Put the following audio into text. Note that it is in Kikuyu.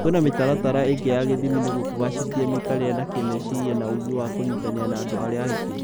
Kwĩna mĩtaratara ĩngĩ ya ithimi nĩguo kũgacĩrithia mĩikarire na kĩmeciria na ũgĩ wa kũnyitanĩra na andũ arĩa angĩ